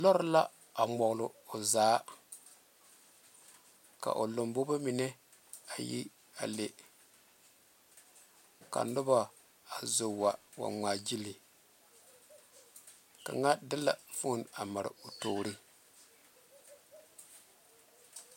Lɔre la a ŋmɔgle o zaa ka o lambobo mine a yi a le ka noba zo wa wa ŋmaagyili kaŋa de la foni a mare o toori.